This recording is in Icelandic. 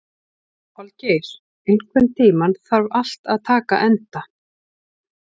Holgeir, einhvern tímann þarf allt að taka enda.